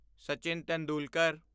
Sachin Tendulkar